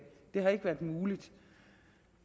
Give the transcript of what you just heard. det har ikke været muligt